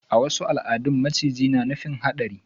A wasu al'adun maciji na nufin hadari.